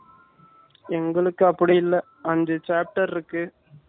எங்களுக்கு அப்படி இல்ல அஞ்சு Chapter இருக்கு